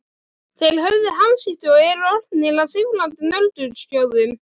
Þeir höfðu hamskipti og eru orðnir að sífrandi nöldurskjóðum.